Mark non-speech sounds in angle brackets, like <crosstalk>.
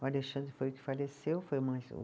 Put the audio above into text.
O Alexandre foi o que faleceu, foi <unintelligible> o